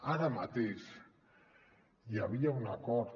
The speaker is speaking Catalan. ara mateix hi havia un acord